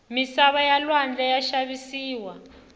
misava ya lwandle ya xavisiwa